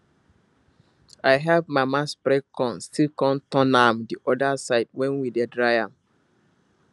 i help mama spread corn still come turn am the other side when we dey dry am